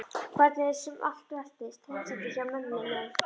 Hvernig sem allt veltist. heimsendi já, mömmu nei.